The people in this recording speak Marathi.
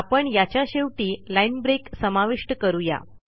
आपण याच्या शेवटी लाईन ब्रेक समाविष्ट करू या